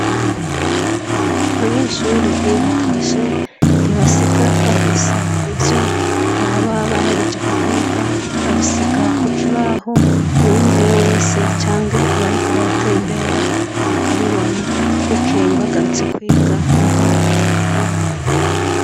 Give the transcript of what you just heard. Abanyeshuri iyo batashe ntibasiga bafuse ivyo baba baherejeko kwiga babisiga ku kibaho uwinjiye wese canke abariko baratembera bakabibona bukeye bagarutse kwiga ni ho babikuraho.